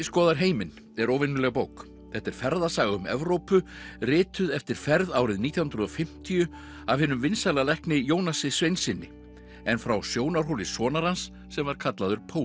skoðar heiminn er óvenjuleg bók þetta er ferðasaga um Evrópu rituð eftir ferð árið nítján hundruð og fimmtíu af hinum vinsæla lækni Jónasi Sveinssyni en frá sjónarhóli sonar hans sem var kallaður